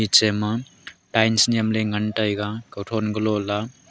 chema tiles nyem le ngan taiga kothon gulola.